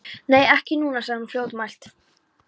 Nei, ekki núna, sagði hún fljótmælt.